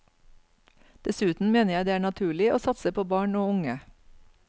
Dessuten mener jeg det er naturlig å satse på barn og unge.